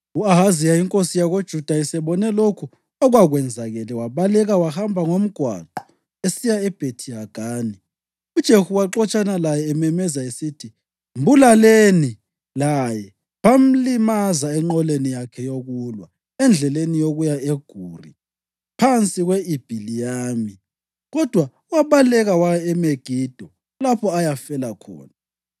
U-Ahaziya inkosi yakoJuda esebone lokhu okwakwenzakele wabaleka wahamba ngomgwaqo esiya eBhethi-Hagani. UJehu waxotshana laye ememeza esithi, “Mbulaleni laye!” Bamlimaza enqoleni yakhe yokulwa endleleni yokuya eGuri phansi kwe-Ibhiliyami, kodwa wabaleka waya eMegido lapho ayafela khona.